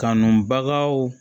Kanubagaw